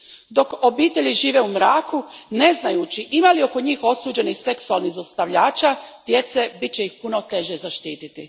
Dok obitelji žive u mraku ne znajući ima li oko njih osuđenih seksualnih zlostavljača djece, bit će ih puno teže zaštiti.